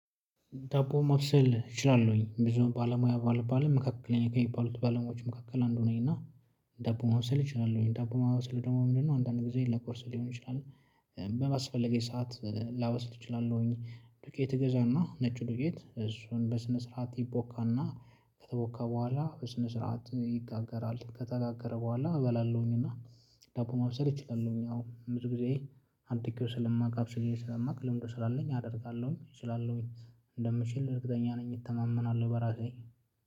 ዳቦ ማብሰል እችላለሁኝ ብዙ ባለሙያ ባልባልም መካከለኛ ከሚባሉት ባለሙያዎች መካከል አንዱ ነኝ። እና ዳቦ ማብሰል እችላለሁኝ ዳቦ ማብሰል ደግሞ ምንድነው? አንዳንድ ጊዜ ለቁርስ ሊሆን ይችላል። በአስፈለገኝ ሰዓት ላበስል እችላለሁኝ ዱቄት እገዛ እና ነጭ ዱቄት እሱን በስነ ስርዓት ይቦካ እና ከተቦካ በኋላ በስነ ስርዓት ይጋገራል ከተጋገረ በኋላ እበላለሁኝ። እና ዳቦ ማብሰል እችላለሁኝ አዎ ብዙ ጊዜ። አድርጌው ስለማቅ አብስዬ ስለማቅ ልምዱ ስላለኝ አደርጋለሁኝ እችላለሁኝ። እንደምችል እርግጠኛ ነኝ እተማመናለሁ በራሴ።